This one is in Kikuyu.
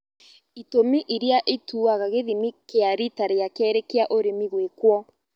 Itũmi iria ituaga gĩthimi kĩa rita rĩa kerĩ kĩa ũrĩmi gwĩkwo